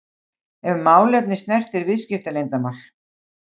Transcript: ef málefni snertir viðskiptaleyndarmál.